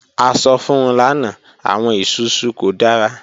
A sọ fun u lana, awọn isusu ko dara.